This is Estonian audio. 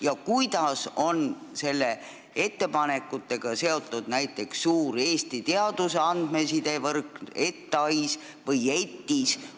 Ja kuidas on nende ettepanekutega seotud näiteks suur teadusarvutuste infrastruktuur ETAIS ja teadusinfosüsteem ETIS?